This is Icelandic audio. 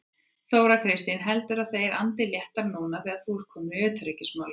Þóra Kristín: Heldurðu að þeir andi léttara núna þegar þú ert kominn í utanríkismálin?